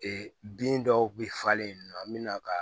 Ee bin dɔw kun bi falen nɔ an mi na ka